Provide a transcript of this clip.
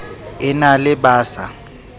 e na le ba sa